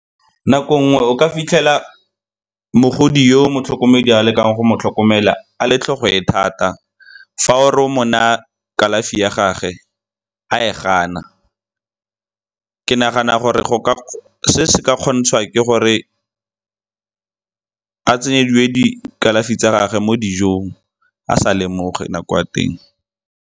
Nako nngwe o ka fitlhela mogodi yo motlhokomedi a lekang go mo tlhokomela a le tlhogo e thata, fa o re o mo naya kalafi ya gage a e gana. Ke nagana gore se se ka kgontshwa ke gore a tsenyediwe dikalafi tsa gage mo dijong a sa lemoge kwa teng.